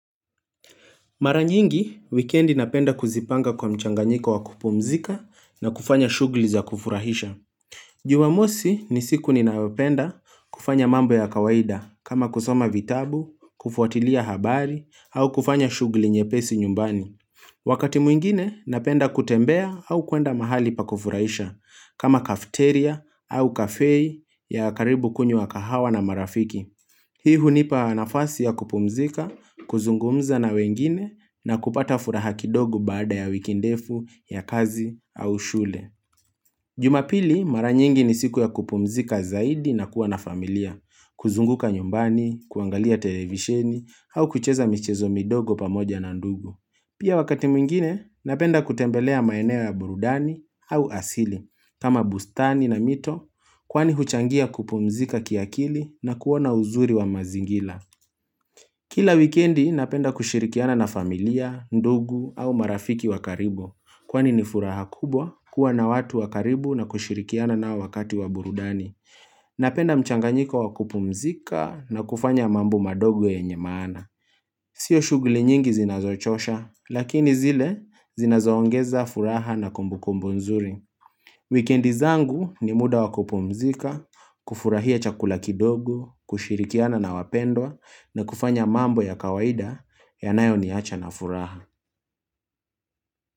Mara nyingi, wikendi napenda kuzipanga kwa mchanganyiko wa kupumzika na kufanya shughli za kufurahisha. Jumamosi ni siku ninayopenda kufanya mambo ya kawaida, kama kusoma vitabu, kufuatilia habari, au kufanya shughli nyepesi nyumbani. Wakati mwingine, napenda kutembea au kuenda mahali pa kufurahisha, kama kafeteria au kafei ya karibu kunywa kahawa na marafiki. Hii hunipa nafasi ya kupumzika, kuzungumza na wengine, na kupata furaha kidogo baada ya wiki ndefu, ya kazi, au shule. Jumapili, mara nyingi ni siku ya kupumzika zaidi na kuwa na familia, kuzunguka nyumbani, kuangalia televisheni, au kucheza michezo midogo pamoja na ndugu. Pia wakati mwingine napenda kutembelea maeneo ya burudani au asili kama bustani na mito kwani huchangia kupumzika kiakili na kuona uzuri wa mazingila Kila wikendi napenda kushirikiana na familia, ndugu au marafiki wa karibu Kwani ni furaha kubwa kuwa na watu wa karibu na kushirikiana nao wakati wa burudani Napenda mchanganyiko wa kupumzika na kufanya mambo madogo yenye maana Sio shughli nyingi zinazochosha, lakini zile zinazoongeza furaha na kumbukumbu nzuri. Wikendi zangu ni muda wa kupumzika, kufurahia chakula kidogo, kushirikiana na wapendwa na kufanya mambo ya kawaida yanayo niacha na furaha.